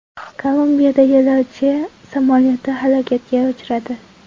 Kolumbiyada yo‘lovchi samolyoti halokatga uchradi.